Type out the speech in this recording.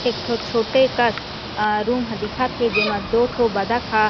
एक ठो छोटे कस अ रूम ह दिखत हे जेमा दो ठो बत्तख ह--